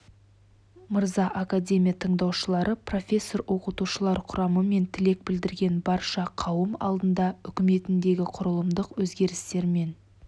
мырза академия тыңдаушылары профессор-оқытушылар құрамы мен тілек білдірген барша қауым алдында үкіметіндегі құрылымдық өзгерістер мен